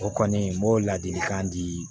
O kɔni n b'o ladilikan di